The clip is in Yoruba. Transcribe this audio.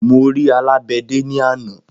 Mo ri alàgbéde ní àná